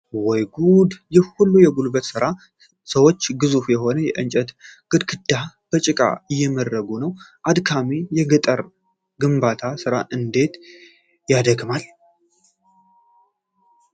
ወይ ጉድ! ይህ ሁሉ የጉልበት ሥራ! ሰዎች ግዙፍ የሆነ የእንጨት ግድግዳ በጭቃ እየመርጉ ነው! አድካሚው የገጠር ግንባታ ሥራ እንዴት ያደክማል!